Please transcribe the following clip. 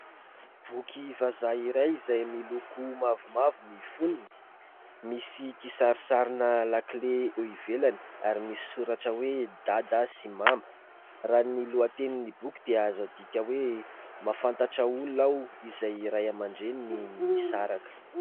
Boky vazaha iray izay miloko mavomavo ny fonony misy kisarisarina lakile eo ivelany ary misy soratra hoe Dada sy Mama. Raha ny lohatenin'ny boky dia azo adika hoe "Mahafantatra olona aho izay ny Ray aman-dReniny nisaraka".